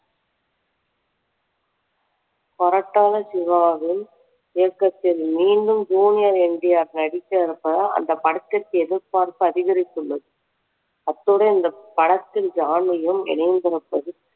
கொரட்டாளா சிவாவின் இயக்கத்தில் மீண்டும் ஜூனியர் என்டிஆர் நடிக்கவிருப்பதால் அந்த படத்திற்கு எதிர்பார்ப்பு அதிகரித்துள்ளது அத்துடன் இந்த படத்தின் இணையதளத்தில்